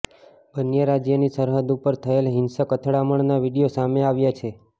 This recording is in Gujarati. બન્ને રાજ્યની સરહદ ઉપર થયેલ હિંસક અથડામણના વીડિયો સામે આવ્યા છે